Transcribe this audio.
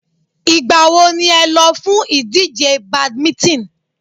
Ìgbà wo ni ẹ lọ fún ìdíje badminton?